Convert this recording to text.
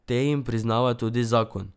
Te jim priznava tudi zakon.